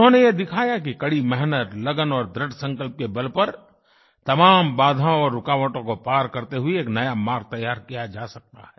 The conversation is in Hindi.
उन्होंने ये दिखाया कि कड़ी मेहनत लगन और दृढसंकल्प के बल पर तमाम बाधाओं और रुकावटों को पार करते हुए एक नया मार्ग तैयार किया जा सकता है